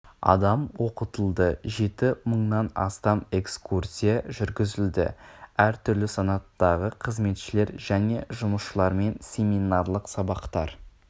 адам оқытылды жеті мыңнан астам экскурсия жүргізілді әр түрлі санаттағы қызметшілер және жұмысшылармен семинарлық сабақтар